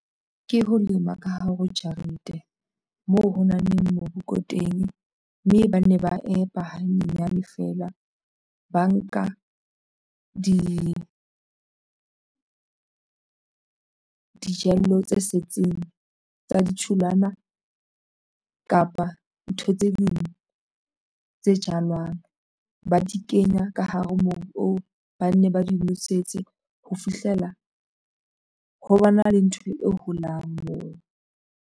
Ke ho lema ka hare ho jarete moo ho nang le mobu ko teng mme ba ne ba empa hanyenyane feela ba nka dijalo tse setseng tsa ditholwana kapa ntho tse ding tse jalwang ba di kenya ka hare ho mobu oo ba nne ba di nosetse ho fihlela ho ba na le ntho e holang moo.